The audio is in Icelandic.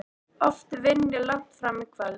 Oft vinn ég langt fram á kvöld.